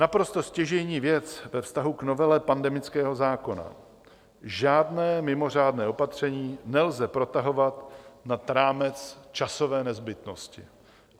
Naprosto stěžejní věc ve vztahu k novele pandemického zákona: Žádné mimořádné opatření nelze protahovat nad rámec časové nezbytnosti.